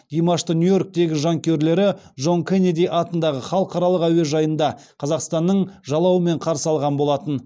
димашты нью йорктегі жанкүйерлері джон кеннеди атындағы халықаралық әуежайында қазақстанның жалауымен қарсы алған болатын